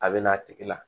A bɛ n'a tigi la